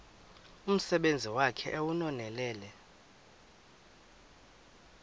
umsebenzi wakhe ewunonelele